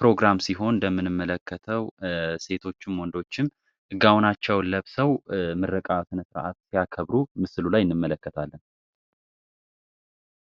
ፕሮግራም ሲሆን እንደምንመለከተው ሴቶች ወንዶችም እጋውናቸው ለብ ሰው ምረቃ ስነሥራዓት ሲያከብሩ ምስሉ ላይ እንመለከታለም፡፡